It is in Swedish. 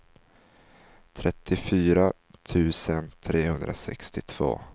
trettiofyra tusen trehundrasextiotvå